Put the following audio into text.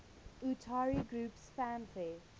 utari groups fanfare